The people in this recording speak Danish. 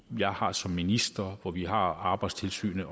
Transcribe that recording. jeg har som minister hvor vi har arbejdstilsynet